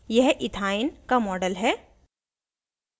यह इथाइन का model है